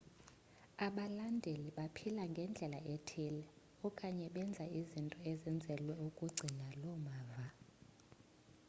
abalandeli baphila ngendlela ethile okanye benza izinto ezenzelwe ukugcina loo mava